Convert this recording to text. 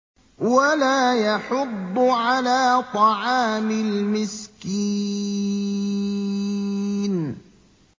وَلَا يَحُضُّ عَلَىٰ طَعَامِ الْمِسْكِينِ